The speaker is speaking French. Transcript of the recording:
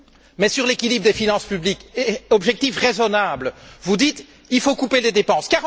Mais sur l'équilibre des finances publiques, objectif raisonnable, vous dites qu'il faut couper les dépenses.